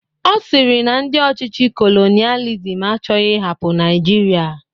Ọ sịrị na ndị ọchịchị kolonialism achọghị ịhapụ Naịjirịa